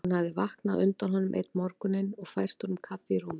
Hún hafði vaknað á undan honum einn morguninn og fært honum kaffi í rúmið.